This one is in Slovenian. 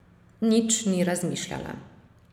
Nič ni razmišljala.